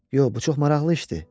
Yox, bu çox maraqlı işdir.